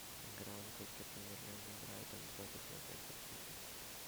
игра английской премьер лиги брайтон против манчестер сити